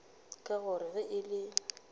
ka gore ge e le